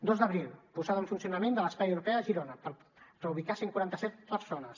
dos d’abril posada en funcionament de l’espai europeu a girona per reubicar cent i quaranta set persones